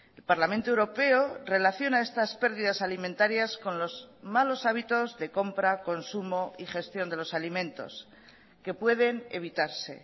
el parlamento europeo relaciona estas pérdidas alimentarías con los malos hábitos de compra consumo y gestión de los alimentos que pueden evitarse